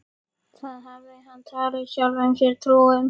Það hafði hann talið sjálfum sér trú um.